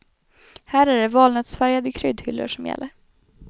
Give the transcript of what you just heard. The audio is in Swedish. Här är det valnötsfärgade kryddhyllor som gäller.